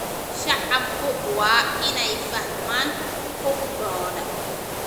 Shacabku waa inay fahmaan xuquuqdooda.